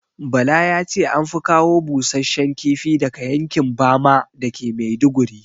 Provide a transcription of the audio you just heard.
Bala yace anfi kawo busashshen kifi daga yankin bama dake maiduguri